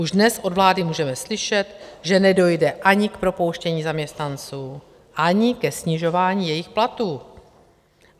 Už dnes od vlády můžeme slyšet, že nedojde ani k propouštění zaměstnanců, ani ke snižování jejich platů.